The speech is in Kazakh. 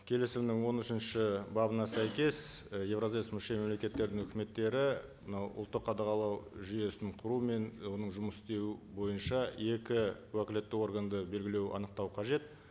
келісімнің он үшінші бабына сәйкес і евразэс мүше мемлекеттерінің үкіметтері мынау ұлттық қадағалау жүйесін құру мен оның жұмыс істеуі бойынша екі уәкілетті органды белгілеу анықтау қажет